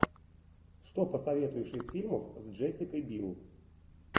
что посоветуешь из фильмов с джессикой бил